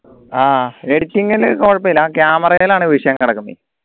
ആഹ് editing ൽ കൊഴപ്പില്ല camera യിലാണ് വിഷയം കിടക്കുന്നത്